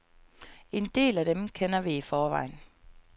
En del af dem kender vi i forvejen.